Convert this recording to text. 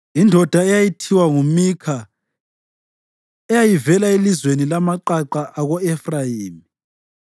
Indoda eyayithiwa nguMikha eyayivela elizweni lamaqaqa ako-Efrayimi